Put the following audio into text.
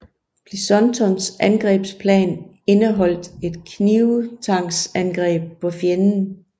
Pleasontons angrebsplan indeholdt et knibtangsangreb på fjenden